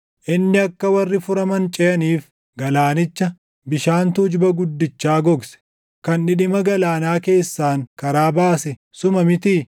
Inni akka warri furaman ceʼaniif, galaanicha, bishaan tuujuba guddichaa gogse, kan dhidhima galaanaa keessaan karaa baase suma mitii?